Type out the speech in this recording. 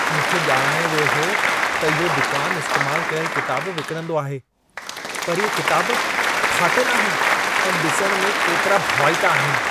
मूंखे ॼाणायो वियो हो त इहो दुकान इस्तेमाल कयल किताब विकिणंदो आहे पर इहे किताब फाटल आहिनि ऐं ॾिसणु में केतिरा भवाइता आहिनि।